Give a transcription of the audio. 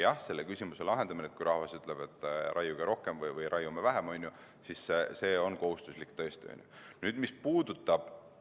Jah, selle küsimusega on nii, et kui rahvas ütleb, et raiuge rohkem või raiuge vähem, siis see vastus on tõesti kohustuslik.